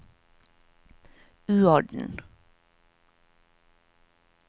uorden